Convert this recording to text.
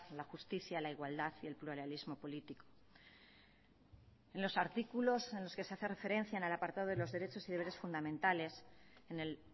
la justicia la igualdad y el pluralismo político en los artículos en los que se hace referencia en el apartado de los derechos y deberes fundamentales en el